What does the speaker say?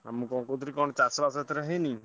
ମୁଁ କ’ଣ କହୁଥିଲି କଣ ଚାଷ ବାଷ ଏଥର ହୋଇନି?